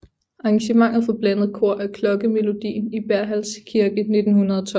Arrangement for blandet kor af klokkemelodien i Berghälls kirke 1912